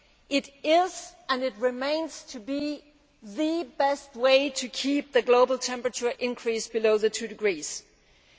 It is and it remains the best way to keep the global temperature increase below 2°C.